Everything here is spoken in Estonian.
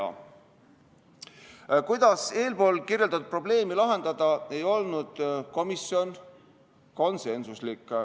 Selles, kuidas eespool kirjeldatud probleemi lahendada, ei olnud komisjon konsensuslik.